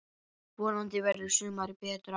Vonandi verður sumarið betra!